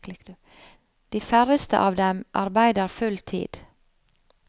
De færreste av dem arbeider full tid.